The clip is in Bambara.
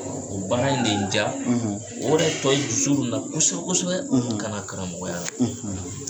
O baara in de ye n ja o de tɔ ye n su kosɛbɛ kosɛbɛ ka na karamɔgɔya la.